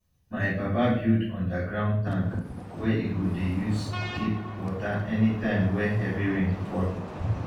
my papa build underground tank wey e go dey use keep water any time wey heavy rain fall